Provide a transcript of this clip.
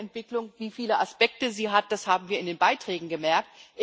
Nachhaltige Entwicklung wie viele Aspekte sie hat, das haben wir in den Beiträgen gemerkt.